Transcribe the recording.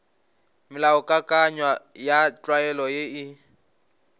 melaokakanywa ya tlwaelo ye e